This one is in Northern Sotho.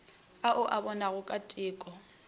ao a bonwego ka teko